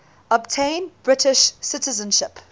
obtain british citizenship